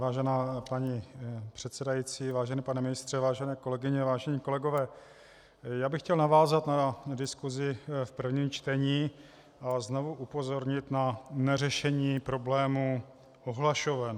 Vážená paní předsedající, vážený pane ministře, vážené kolegyně, vážení kolegové, já bych chtěl navázat na diskusi v prvním čtení a znovu upozornit na neřešení problému ohlašoven.